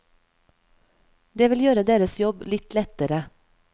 Det vil gjøre deres jobb litt lettere.